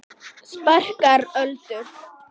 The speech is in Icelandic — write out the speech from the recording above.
Sparkar Öldu.